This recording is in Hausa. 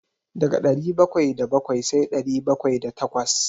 Daga ɗari bakwai da bakwai sai ɗari bakwai da takwas.